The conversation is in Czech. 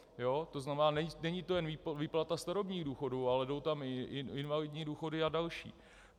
To neznamená, není to jen výplata starobních důchodů, ale jdou tam i invalidní důchody a další.